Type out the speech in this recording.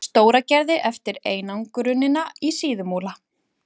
Stóragerði eftir einangrunina í Síðumúla.